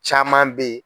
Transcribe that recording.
Caman be ye